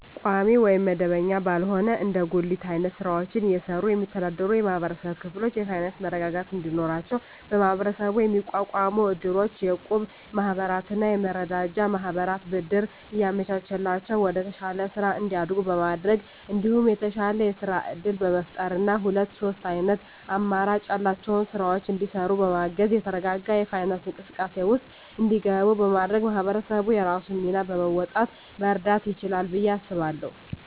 ቋሚ ወይም መደበኛ ባልሆነ እንደ ጉሊት አይነት ስራወችን እየሰሩ የሚስተዳደሩ የማህበረሰብ ክፍሎች የፋይናንሰ መረጋጋት እንዲኖራቸው በመሀበረሰቡ የሚቋቋሙ እድሮች፣ የእቁብ ማህበራትና የመረዳጃ ማህበራት ብድር እያመቻቸላቸው ወደተሻለ ስራ እንዲያድጉ በማድረግ እንዲሁም የተሻለ የስራ እድል በመፍጠርና ሁለት ሶስት አይነት አማራጭ ያላቸውን ስራወች እንዲሰሩ በማገዝ የተረጋጋ የፋይናንስ እንቅስቃሴ ውስጥ እንዲገቡ በማድረግ ማህበረሰቡ የራሱን ሚና በመወጣት መርዳት ይችላል ብየ አስባለሁ።